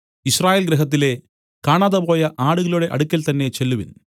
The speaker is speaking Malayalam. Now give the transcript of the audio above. യിസ്രായേൽ ഗൃഹത്തിലെ കാണാതെപോയ ആടുകളുടെ അടുക്കൽ തന്നേ ചെല്ലുവിൻ